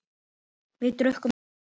Við drukkum meira.